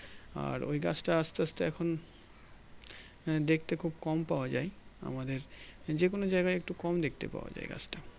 আর ওই গাছটা আস্তে আস্তে এখন দেখতে খুব কম পাওয়া যাই আমাদের যেকোনো জায়গায় একটু কম দেখতে পাওয়া যাই গাছটা